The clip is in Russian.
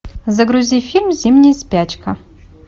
загрузи фильм зимняя спячка